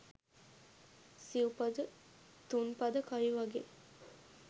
සිව් පද තුන් පද කවි වගේ